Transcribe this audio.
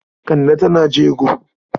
Kande tana jego.